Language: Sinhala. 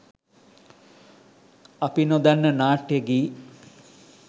අපි නොදන්න නාට්‍ය ගී!